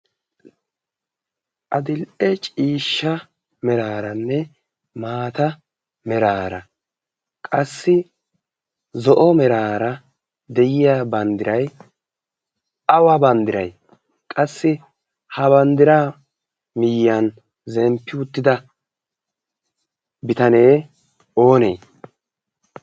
Adil"e ciishsha meraaranne maata meraara qassi zo'o meraara de'iya banddiray awa banddiray? Qassi ha banddiraa miyyiyan zemppiwuttida bitanee oonee?